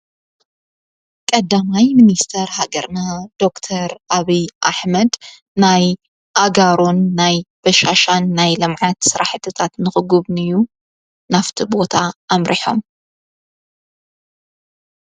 ቀዳማይ ሚንስተር ሃገርና ዶክተር ኣብይ ኣኅመድ ናይ ኣጋሮን ናይ በሻሻን ናይ ልምዐት ሠራሕትታት ንኽጕብኒ እዩ ናፍቲ ቦታ ኣምርሖም፡፡